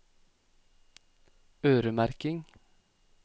øremerking